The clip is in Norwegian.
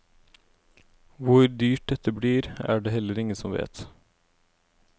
Hvor dyrt dette blir, er det heller ingen som vet.